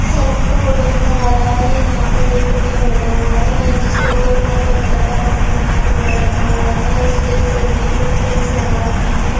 Salon का photo नजर आ रहा है| यहाँ पर एक बच्चा बैठा हुआ है यहाँ जिसके ऊपर पर्पल कलर का कम-कपड़ा ढका हुआ है उसके सिर में कुछ पिंस लगा रखी हैं।